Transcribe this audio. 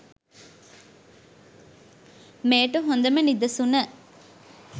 මෙයට හොඳම නිදසුන